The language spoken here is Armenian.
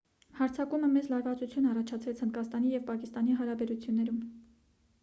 հարձակումը մեծ լարվածություն առաջացրեց հնդկաստանի և պակիստանի հարաբերություններում